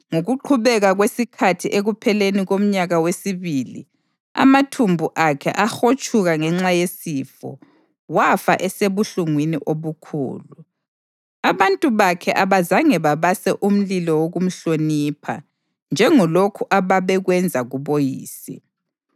Ngokuqhubeka kwesikhathi ekupheleni komnyaka wesibili, amathumbu akhe ahotshuka ngenxa yesifo, wafa esebuhlungwini obukhulu. Abantu bakhe abazange babase umlilo wokumhlonipha njengalokhu ababekwenza kuboyise.